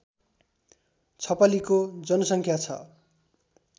छपलीको जनसङ्ख्या छ